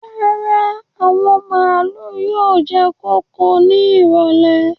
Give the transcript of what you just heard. Rárá, àwọn màálù yóò jẹ kóko ní ìrọ̀lẹ́